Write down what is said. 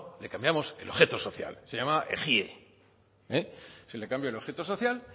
le cambiamos el objeto social se llamaba ejie se le cambia el objeto social